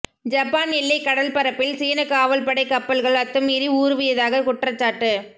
Japan எல்லை கடல்பரப்பில் சீன காவல்படை கப்பல்கள் அத்துமீறி ஊருவியதாக குற்றச்சாட்டு